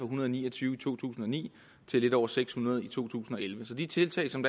hundrede og ni og tyve i to tusind og ni til lidt over seks hundrede i to tusind og elleve så de tiltag som